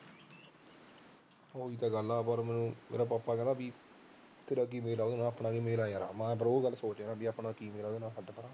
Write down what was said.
ਹਮ ਮੇਰਾ ਪਾਪਾ ਕਹਿੰਦਾ ਸੀ ਕਿ ਤੇਰਾ ਕੀ ਮੇਲ ਐ ਉਹਦੇ ਨਾਲ ਮੈਂ ਕਿਹਾ ਯਾਰ ਆਪਣਾ ਕੀ ਮੇਲ ਐ ਉਹਦੇ ਨਾਲ